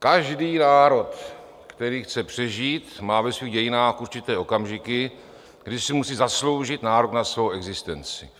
Každý národ, který chce přežít, má ve svých dějinách určité okamžiky, kdy si musí zasloužit nárok na svou existenci.